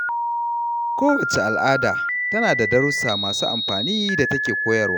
Kowacce al’ada tana da darussa masu amfani da take koyarwa